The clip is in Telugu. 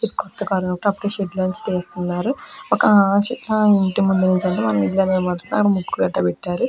కొత్త కార్ అనుకుంటా అప్పుడే షెడ్ లో నుండి తీస్తున్నారు. ఒక ఆ ఇంటి ముందర ఉంచారు. వాళ్ళ ఇల్లు అన్న మాట అక్కడ ముగ్గు కూడా పెట్టారు. .